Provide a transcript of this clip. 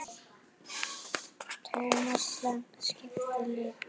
Thomas Lang skipti litum.